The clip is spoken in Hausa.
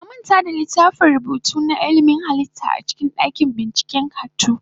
Na manta da littafin rubutu na ilimin halitta a cikin dakin binciken halittu.